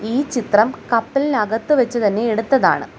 ഈ ചിത്രം കപ്പലിനകത്ത് വെച്ച് തന്നെ എടുത്തതാണ്.